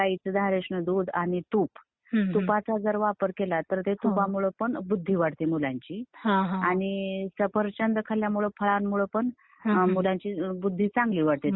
गाईच धारोष्ण दूध, आणि तूप. तुपाचा जर वापर केलं तर ते तुपामुळे पण बुद्धी वाढते मुलांची आणि सफरचंद खाल्ल्यामुळे फळांमुळे लहान मुलांची बुद्धी चांगली वाढते.